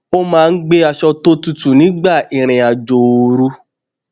mo máa ń gbé aṣọ tó tutù nígbà ìrìn àjò ooru